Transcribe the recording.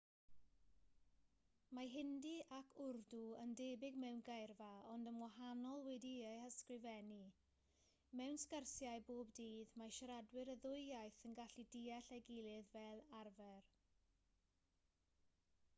mae hindi ac wrdw yn debyg mewn geirfa ond yn wahanol wedi'u hysgrifennu mewn sgyrsiau bob dydd mae siaradwyr y ddwy iaith yn gallu deall ei gilydd fel arfer